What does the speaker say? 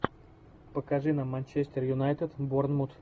покажи нам манчестер юнайтед борнмут